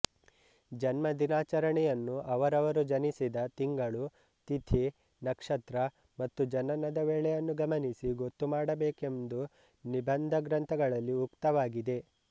ಜನ್ಮದಿನಾಚರಣೆಯನ್ನು ಅವರವರು ಜನಿಸಿದ ತಿಂಗಳು ತಿಥಿ ನಕ್ಷತ್ರ ಮತ್ತು ಜನನ ವೇಳೆಯನ್ನು ಗಮನಿಸಿ ಗೊತ್ತುಮಾಡಬೇಕೆಂದು ನಿಬಂಧಗ್ರಂಥಗಳಲ್ಲಿ ಉಕ್ತವಾಗಿದೆ